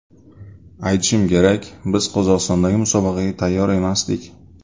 Aytishim kerak, biz Qozog‘istondagi musobaqaga tayyor emasdik.